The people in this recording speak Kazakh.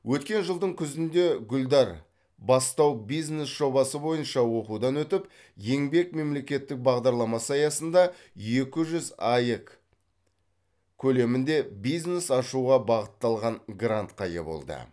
өткен жылдың күзінде гүлдар бастау бизнес жобасы бойынша оқудан өтіп еңбек мемлекеттік бағдарламасы аясында екі жүз аек көлемінде бизнес ашуға бағытталған грантқа ие болды